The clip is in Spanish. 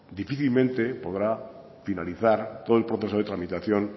difícilmente podrá finalizar todo el proceso de tramitación